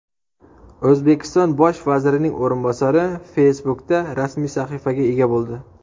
O‘zbekiston bosh vazirining o‘rinbosari Facebook’da rasmiy sahifasiga ega bo‘ldi.